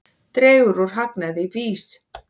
Dregur úr hagnaði VÍS